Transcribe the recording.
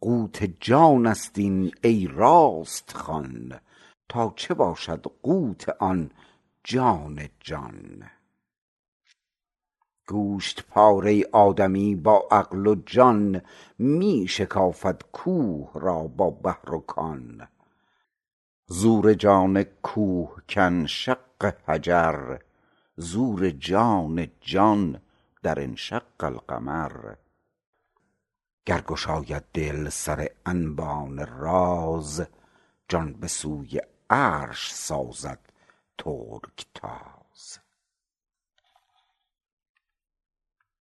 قوت جانست این ای راست خوان تا چه باشد قوت آن جان جان گوشت پاره آدمی با عقل و جان می شکافد کوه را با بحر و کان زور جان کوه کن شق حجر زور جان جان در انشق القمر گر گشاید دل سر انبان راز جان به سوی عرش سازد ترک تاز